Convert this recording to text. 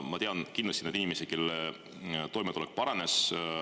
Ma tean kindlasti neid inimesi, kelle toimetulek paranes.